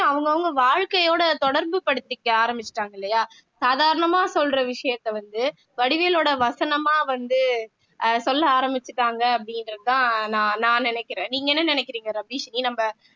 அவங்கவங்க வாழ்க்கையோட தொடர்பு படுத்திக்க ஆரம்பிச்சுட்டாங்க இல்லையா சாதாரணமா சொல்ற விஷயத்த வந்து வடிவேலோட வசனமா வந்து அஹ் சொல்ல ஆரம்பிச்சுட்டாங்க அப்படின்றதுதான் நான் நான் நினைக்கிறேன் நீங்க என்ன நினைக்கிறீங்க ரபிஷினி நம்ம